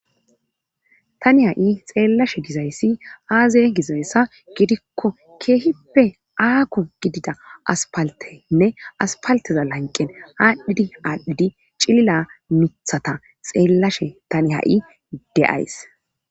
Tani ha'i xeellashe gizayssi aazey gizayssa gidikko keehippe aaku gidida aspaltenne aspalteza lanqen aadhdhidi aadhdhidi cilila nuthata xeellashe tani ha'i de'ays.